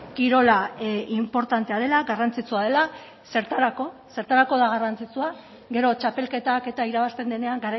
kirola inportantea dela garrantzitsua dela zertarako zertarako da garrantzitsua gero txapelketak eta irabazten denean